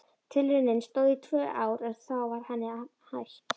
Tilraunin stóð í tvö ár en þá var henni hætt.